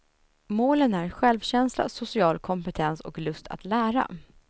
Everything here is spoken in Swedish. Målen är självkänsla, social kompetens och lust att lära.